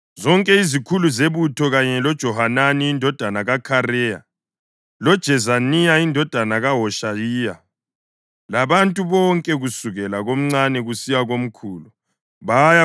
Zonke izikhulu zebutho, kanye loJohanani indodana kaKhareya loJezaniya indodana kaHoshayiya, labantu bonke kusukela komncane kusiya komkhulu baya